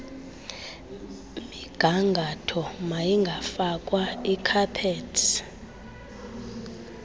migangatho mayingafakwa ikhaphethi